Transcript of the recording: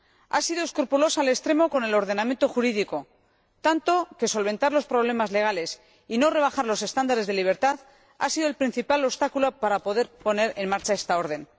Ha sido escrupulosa al extremo con el ordenamiento jurídico, tanto que solventar los problemas legales y no rebajar los estándares de libertad ha sido el principal obstáculo para poder poner en marcha esta orden.